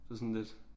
Det var sådan lidt